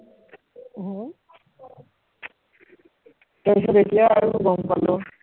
হম তাৰপাছত এতিয়া আৰু গম পালো